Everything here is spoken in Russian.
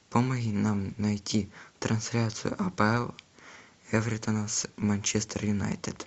помоги нам найти трансляцию апл эвертона с манчестер юнайтед